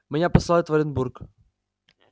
меня посылают в оренбург